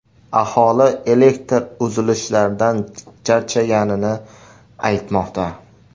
Aholi elektr uzilishlaridan charchaganini aytmoqda.